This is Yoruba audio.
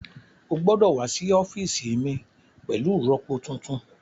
Ó gbọ́dọ̀ wá sí ọ́fíìsì mi pẹ̀lú ìrọpo tuntun